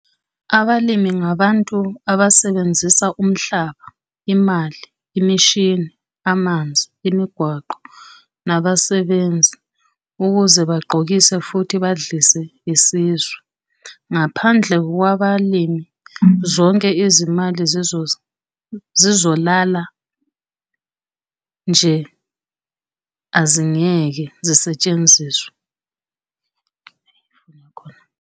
Abalimi ngabantu abasebenzisa umhlaba, imali, imishini, amanzi, imigwaqo nabasebenzi ukuze bagqokise futhi badlise isizwe. Ngaphandle kwabalimi, zonke izimali zizolala nje azingeke zisetshenziswe.